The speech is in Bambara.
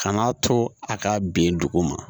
Kan'a to a ka bin dugu ma